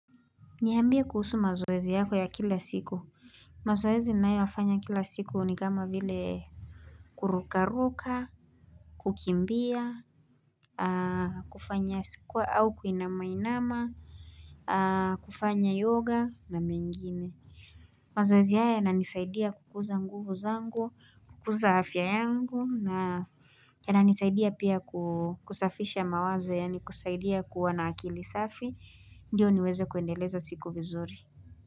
Niambie kuhusu mazoezi yako ya kila siku. Mazoezi ninayoifanya kila siku ni kama vile kurukaruka, kukimbia, kufanya sikuwa au kuinamainama, kufanya yoga na mengine. Mazoezi haya yananisaidia kukuza nguvu zangu, kukuza afya yangu, na yananisaidia pia kusafisha mawazo, yani kusaidia kuwa na akili safi, ndio niweze kuendeleza siku vizuri.